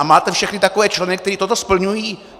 A máte všechny takové členy, kteří toto splňují?